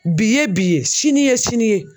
Bi ye bi ye sini ye sini ye.